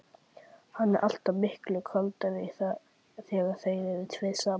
Hann er alltaf miklu kaldari þegar þeir eru tveir saman.